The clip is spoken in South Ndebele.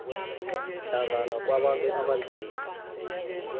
hlangana kwabantu abanzima